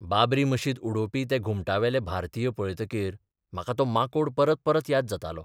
बाबरी मशीद उडोवपी ते घुमटावेले भारतीय पळयतकीर म्हाका तो माकोड परत परत याद जातालो.